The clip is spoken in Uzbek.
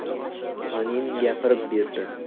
Panin gapirib berdi.